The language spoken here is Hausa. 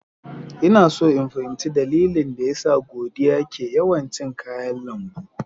Ina so in fahimci dalilin da yasa Godiya ke yawan cin kayan lambu.